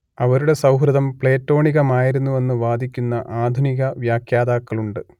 അവരുടെ സൗഹൃദം പ്ലേറ്റോണികമായിരുന്നുവെന്ന് വാദിക്കുന്ന ആധുനികവ്യാഖ്യാതാക്കളുണ്ട്